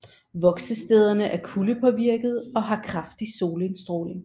Voksestederne er kuldepåvirkede og har kraftig solindstråling